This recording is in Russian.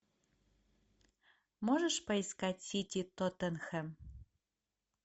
можешь поискать сити тоттенхэм